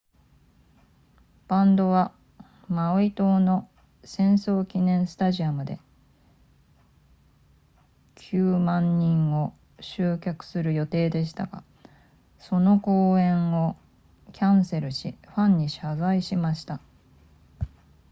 バンドはマウイ島の戦争記念スタジアムで 90,000 人を集客する予定でしたがその公演をキャンセルしファンに謝罪しました